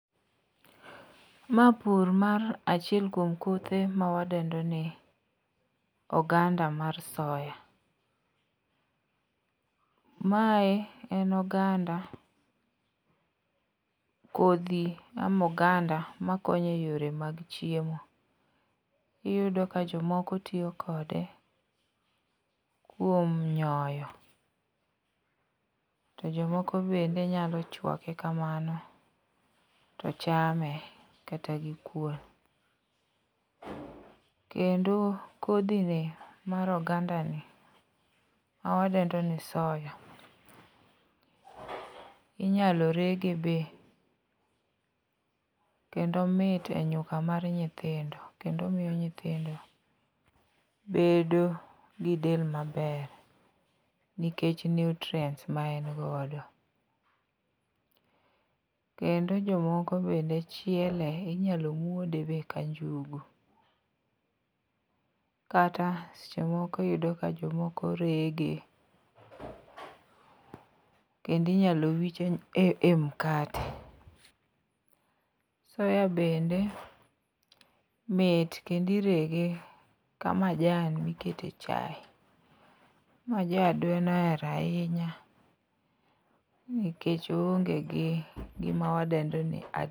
Ma pur mar achiel kuom kothe mawadendo ni oganda mar soya. Mae en oganda kodhi ama oganda makonyo e yore mag chiemo. Iyudo ka jomoko tiyo kode kuom nyoyo to jomoko bende nyalo chwake kamano to chame kata gikuon. Kendo kodhini mar ogandani mawadendoni soya inyalo rege be. Kendo omit e nyuka mar nyithindo kendo omiyo nyithindo bedo gi del maber nikech nutrients ma en godo. Kendo jomoko bende chiele, inyalo muode be ka njugu. Kata seche moko iyudo ka jomoko rege kendo inyalo wich e mkate. Soya bende mit kendo irege kamajan mikete chaye, ma ja adwen ohero ahinya nikech oonge gi gima wadendo ni.